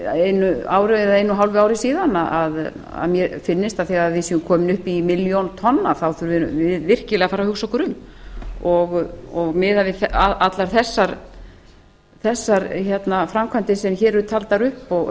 einu ári eða einu og hálfu ári síðan að mér finnist að þegar við séum komin upp í milljón tonn þá þurfum við virkilega að fara að hugsa okkur um og miðað við allar þessar framkvæmdir sem hér eru taldar upp og